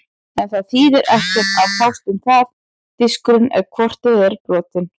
En það þýðir ekkert að fást um það, diskurinn er hvort eð er brotinn.